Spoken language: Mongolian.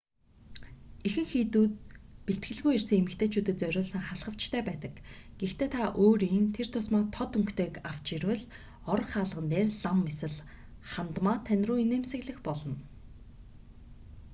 ихэнх хийдүүд бэлтгэлгүй ирсэн эмэгтэйчүүдэд зориулсан халхавчтай байдаг гэхдээ та өөрийн тэр тусмаа тод өнгөтэйг авч ирвэл орох хаалган дээр лам эсвэл хандмаа тань руу инээмсэглэх болно